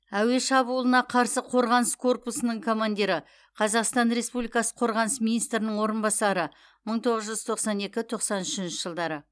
әуе шабуылына қарсы қорғаныс корпусының командирі қазақстан республикасы қорғаныс министрінің орынбасары мың тоғыз жүз тоқсан екі тоқсан үшінші жылдары